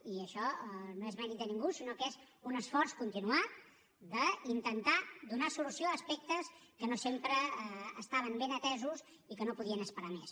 i això no és mèrit de ningú sinó que és un esforç continuat d’intentar donar solució a aspectes que no sempre estaven ben atesos i que no podien esperar més